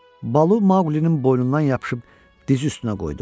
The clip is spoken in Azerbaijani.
Balu Maqulinin boynundan yapışıb diz üstünə qoydu.